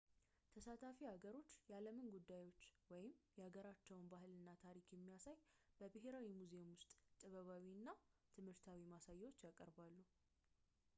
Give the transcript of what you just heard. ተሳታፊ ሀገሮች የዓለምን ጉዳዮች ወይም የሀገራቸውን ባህል እና ታሪክ የሚያሳይ በብሔራዊ ሙዚየሞች ውስጥ ጥበባዊ እና ትምህርታዊ ማሳያዎችን ያቀርባሉ